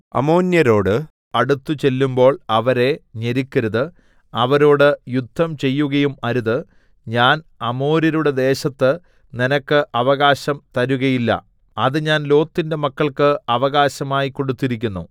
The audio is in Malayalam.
അമ്മോന്യരോട് അടുത്തുചെല്ലുമ്പോൾ അവരെ ഞെരുക്കരുത് അവരോട് യുദ്ധം ചെയ്യുകയും അരുത് ഞാൻ അമ്മോന്യരുടെ ദേശത്ത് നിനക്ക് അവകാശം തരുകയില്ല അത് ഞാൻ ലോത്തിന്റെ മക്കൾക്ക് അവകാശമായി കൊടുത്തിരിക്കുന്നു